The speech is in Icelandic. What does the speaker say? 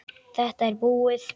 Þetta er búið!